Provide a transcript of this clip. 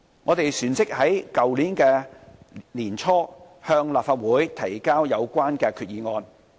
我們旋即於去年年初向立法會提交有關決議案。